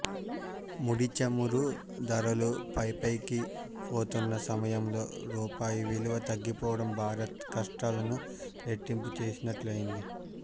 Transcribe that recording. ముడిచమురు ధరలు పైపైకిపోతున్న సమయంలో రూపాయి విలువ తగ్గిపోవడం భారత్ కష్టాలను రెట్టింపు చేసినట్లయింది